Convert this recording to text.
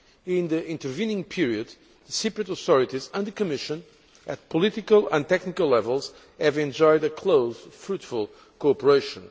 In the intervening period the Cyprus authorities and the Commission at political and technical levels have enjoyed a close, fruitful cooperation.